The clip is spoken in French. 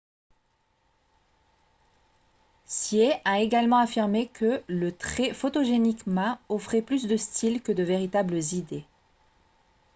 hsieh a également affirmé que le très photogénique ma offrait plus de style que de véritables idées